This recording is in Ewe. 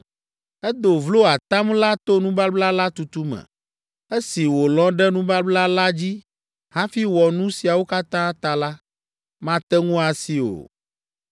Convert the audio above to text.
Edo vlo atam la to nubabla la tutu me. Esi wòlɔ̃ ɖe nubabla la dzi hafi wɔ nu siawo katã ta la, mate ŋu asi o.’